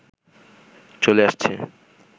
চলে আসছে